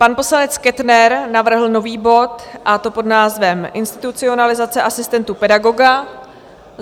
Pan poslanec Kettner navrhl nový bod, a to pod názvem Institucionalizace asistentů pedagoga.